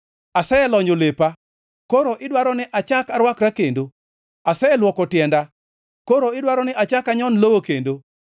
Aselonyo lepa, koro idwaro ni achak arwakra kendo? Aselwoko tienda, koro idwaro ni achak anyon lowo kendo?